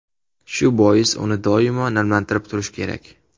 Shu bois uni doimo namlantirib turish kerak.